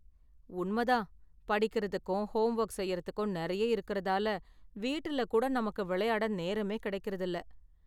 உண்மதான், படிக்கறதுக்கும் ஹோம்வொர்க் செய்யுறதுக்கும் நெறைய இருக்குறதால, வீட்டுல கூட நமக்கு விளையாட நேரமே கெடைக்கறது இல்ல.